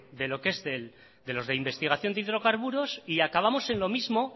de lo que es de los de investigación de hidrocarburos y acabamos en lo mismo